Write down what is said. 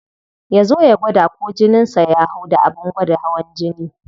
Ya zo ya gwada ko jinin sa ya hau da abin gwada hawan jini.